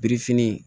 Birifini